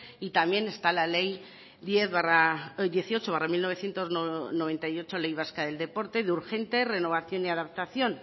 y también está la ley dieciocho barra mil novecientos noventa y ocho ley vasca del deporte de urgente renovación y adaptación